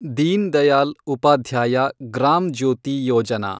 Deen Dayal Upadhyaya Gram Jyoti Yojana